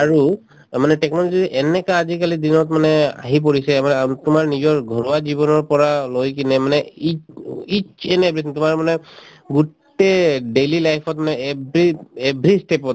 আৰু অ মানে technology এনেকা আজিকালিৰ দিনত মানে আহি পৰিছে আমাৰ আ‍ম তোমাৰ নিজৰ ঘৰুৱা জীৱনৰ পৰা লৈ কিনে মানে it it each and everything তোমাৰ মানে গোটেই daily life ত মানে every every step ত